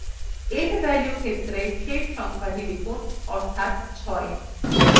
end value ক্ষেত্রে শেষ সংখ্যাটি লিখুনঅর্থাৎ 6